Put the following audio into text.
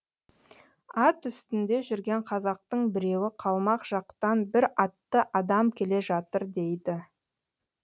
ат үстінде жүрген қазақтың біреуі қалмақ жақтан бір атты адам келе жатыр дейді